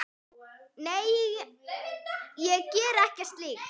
Nei, ég geri ekki slíkt.